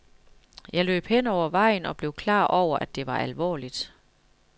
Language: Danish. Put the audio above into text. Jeg løb hen over vejen og blev klar over, at det var alvorligt.